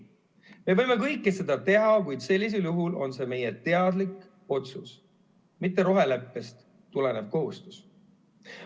Me võime kõike seda teha, kuid sellisel juhul on see meie teadlik otsus, mitte roheleppest tulenev kohustus.